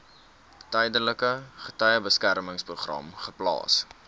tydelike getuiebeskermingsprogram geplaas